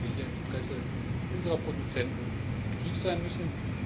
Ich denke, dass wir hier im Interesse unserer Produzenten aktiv sein müssen.